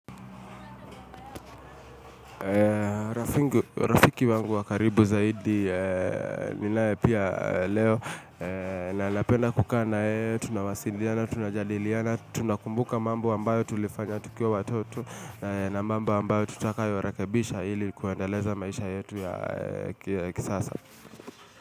Rafiki wangu wa karibu zaidi, ninae pia leo na napenda kukaa na yeye tunawasiliana, tunajadiliana, tunakumbuka mambo ambayo tulifanya tukiwa watoto na mambo ambayo tutakayo rekebisha hili kuendeleza maisha yetu ya kisasa.